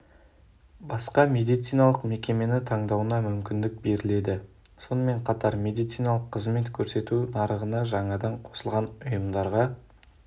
басқа медициналық мекемені таңдауына мүмкіндік беріледі сонымен қатар медциналық қызмет көрсету нарығына жаңадан қосылған ұйымдарға